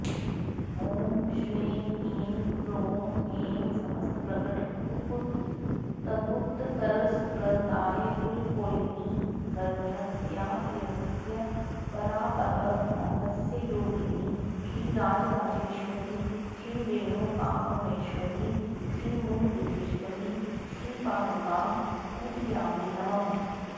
ॐ श्रीं ह्रीं क्रों ऐं समस्तप्रकटगुप्तगुप्ततरसम्प्रदायकुलकौलिनि गर्भरहस्यातिरहस्य परापररहस्ययोगिनि श्रीराजराजेश्वरि श्रीरेणुकापरमेश्वरि श्रीमूलपीठेश्वरि श्रीपादुकां पूजयामि नमः